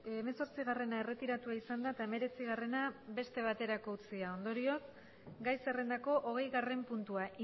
hemezortzigarrena erretiratua izan da eta hemeretzigarrena beste baterako utzi da ondorioz gai zerrendako hogeigarren puntua